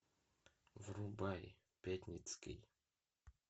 врубай пятницкий